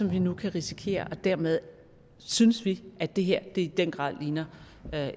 vi nu kan risikere dermed synes vi at det her i den grad ligner